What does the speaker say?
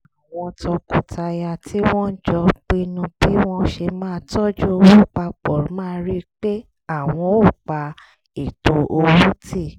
àwọn tọkọtaya tí wọ́n jọ pinnu bí wọ́n ṣe máa tọ́jú owó pa pọ̀ máa rí pé àwọn ò pa ètò owó tì